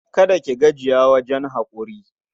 Kada ki gajiya wajen haƙuri.